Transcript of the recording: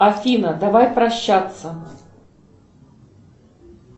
афина давай прощаться